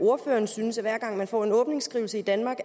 ordføreren synes at hver gang man får en åbningsskrivelse i danmark